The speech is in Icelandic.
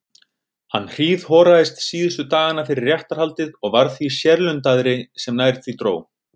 Hann hríðhoraðist síðustu dagana fyrir réttarhaldið og varð því sérlundaðri sem nær því dró.